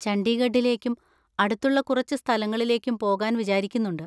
ചണ്ഡീഗഡിലേക്കും അടുത്തുള്ള കുറച്ച് സ്ഥലങ്ങളിലേക്കും പോകാൻ വിചാരിക്കുന്നുണ്ട്.